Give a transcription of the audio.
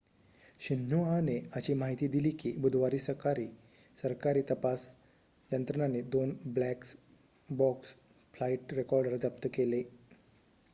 शिन्हुआने अशी माहिती दिली की बुधवारी सरकारी तपास यंत्रणांनी 2 ब्लॅक बॉक्स' फ्लाईट रेकॉर्डर जप्त केले